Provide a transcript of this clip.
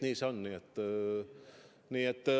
Nii see on.